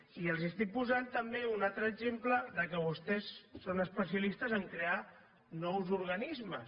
i els estic posant també un altre exemple de què vostès són especialistes a crear nous organismes